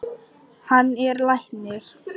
Hann er læknir.